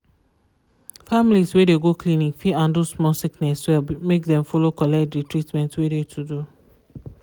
families wey de go clinic fit handle small sickness well make dem follow collect de treatment wey de to do.